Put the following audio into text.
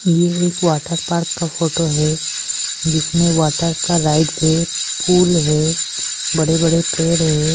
येह एक water park का फोटो है जिसमें वाटर का राइट् से फूल है बड़े बड़े पेर है।